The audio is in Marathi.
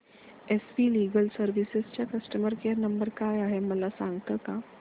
एस वी लीगल सर्विसेस चा कस्टमर केयर नंबर काय आहे मला सांगता का